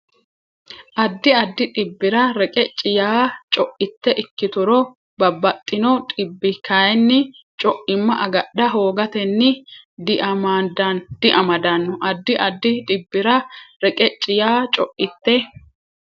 Addi addi dhibbira reqecci yaa co itte ikkituro babbaxxino dhibbi kayinni co imma agadha hoogatenni diamadanno Addi addi dhibbira reqecci yaa co itte.